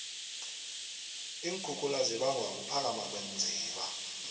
iinkhukhula zibangwa kuphakama kweenziba